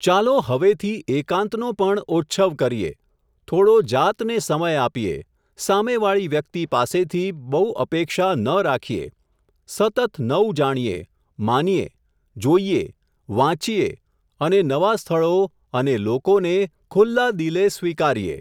ચાલો હવેથી એકાંતનો પણ ઓચ્છવ કરીએ, થોડો જાતને સમય આપીએ, સામેવાળી વ્યક્તિ પાસેથી, બઉ અપેક્ષા ન રાખીયે, સતત નઉ જાણીએ, માનીયે, જોઈયે, વાંચીએ અને નવાં સ્થળો, અને લોકોને, ખુલ્લા દિલે સ્વીકારીએ.